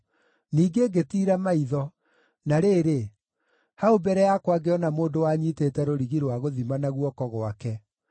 Ningĩ ngĩtiira maitho, na rĩrĩ, hau mbere yakwa ngĩona mũndũ wanyiitĩte rũrigi rũa gũthima na guoko gwake.